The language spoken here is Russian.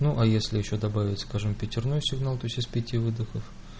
ну а если ещё добавить скажем пятерной сигнал тоесть из пяти выдохов